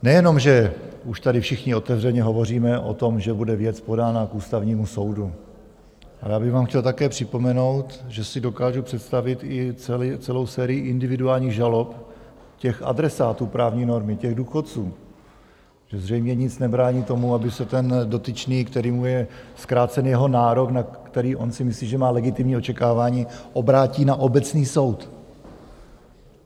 Nejenom že už tady všichni otevřeně hovoříme o tom, že bude věc podána k Ústavnímu soudu, ale já bych vám chtěl také připomenout, že si dokážu představit i celou sérii individuálních žalob těch adresátů právní normy, těch důchodců, že zřejmě nic nebrání tomu, aby se ten dotyčný, kterému je zkrácen jeho nárok, na který on si myslí, že má legitimní očekávání, obrátí na obecný soud.